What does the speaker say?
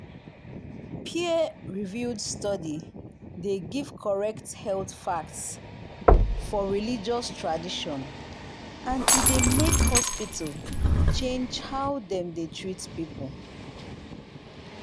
peer-reviewed study dey give correct health facts for religious tradition and e dey make hospital change how dem dey treat people.